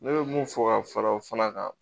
Ne bɛ mun fɔ ka fara o fana kan